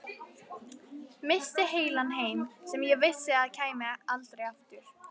Missti heilan heim sem ég vissi að kæmi aldrei aftur.